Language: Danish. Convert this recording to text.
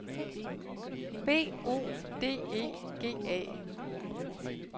B O D E G A